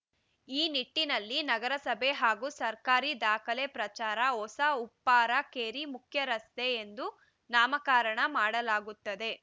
ಈ ನಿಟ್ಟಿನಲ್ಲಿ ನಗರಸಭೆ ಹಾಗೂ ಸರ್ಕಾರಿ ದಾಖಲೆ ಪ್ರಕಾರ ಹೊಸ ಉಪ್ಪಾರ ಕೇರಿ ಮುಖ್ಯ ರಸ್ತೆ ಎಂದು ನಾಮಕರಣ ಮಾಡಲಾಗುತ್ತದೆ